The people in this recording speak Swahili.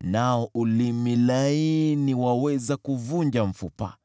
nao ulimi laini waweza kuvunja mfupa.